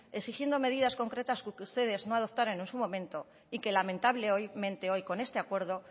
exigiendo medidas concretas porque ustedes no adoptaron en su momento y que lamentablemente hoy con este acuerdo